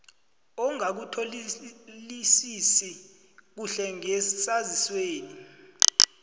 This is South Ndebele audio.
ongakutholisisi kuhle ngesaziswesi